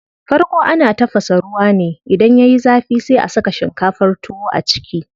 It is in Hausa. Farko ana tafasa ruwa ne, idan yayi zafi sai a saka shinkafar tuwo a ciki.